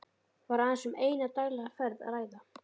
Var aðeins um eina daglega ferð að ræða.